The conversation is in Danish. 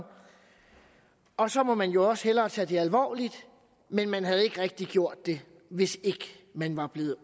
og så må man jo også hellere tage det alvorligt men man havde ikke rigtig gjort det hvis ikke man var blevet